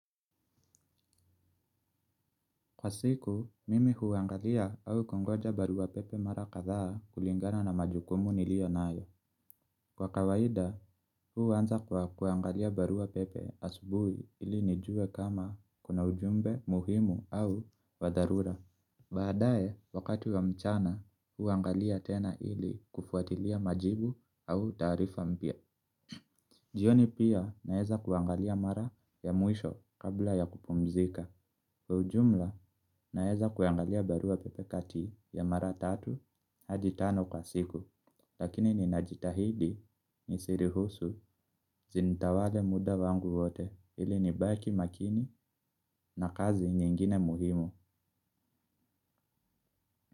Kwa siku, mimi huuangalia au kungoja barua pepe mara kadha kulingana na majukumu nilio nayo. Kwa kawaida, huu anza kwa kuangalia barua pepe asubui ili nijue kama kuna ujumbe muhimu au wadharura. Baadaye, wakati wa mchana, huuangalia tena ili kufuatilia majibu au taarifa mpya. Jioni pia naweza kuangalia mara ya mwisho kabla ya kupumzika. Ujumla naeza kuangalia barua pepe kati ya mara tatu hadi tano kwa siku. Lakini ninajitahidi ni si ruhusu zintawale muda wangu wote ili nibaki makini na kazi nyingine muhimu.